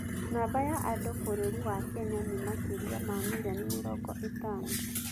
namba ya andũ bũrũri wa Kenya nĩ makĩria ma milioni mĩrongo ĩtaano